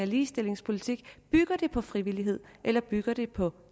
ligestillingspolitik bygger det på frivillighed eller bygger det på